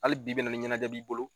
Ali bi bi in na ni ɲɛnajɛ b'i bolo